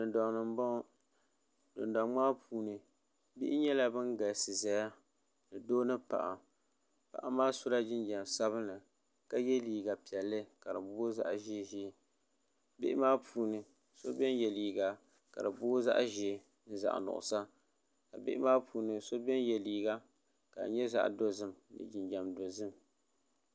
dundoŋ ni n boŋo dundoŋ maa puuni bihi nyɛla bin galisi ʒɛya ni doo ni paɣa paɣa maa sola jinjɛm sabinli ka yɛ liiga piɛlli ka booi zaɣ ʒiɛ ʒiɛ bihi maa puuni so biɛni yɛ liiga ka di booi zaɣ ʒiɛ zaɣ nuɣsa bihi maa puuni so biɛni yɛ liiga ka di nyɛ zaɣ dozim ni jinjɛm dozim